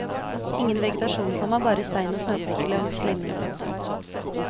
Ingen vegetasjon, komma bare stein og snøflekker langs linjen. punktum